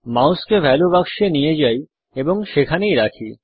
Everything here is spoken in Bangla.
মাউসকে ভ্যালিউ বাক্সতে নিয়ে যাই এবং সেখানেই রাখি